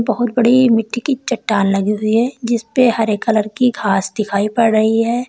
और बड़ी मिट्टी की चट्टान लगी हुई है जिस पे हरे कलर की घास दिखाई पड़ रही है।